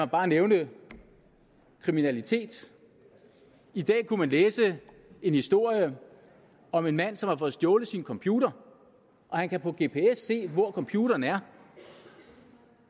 bare nævne kriminaliteten i dag kunne man læse en historie om en mand som har fået stjålet sin computer og han kan på sin gps se hvor computeren er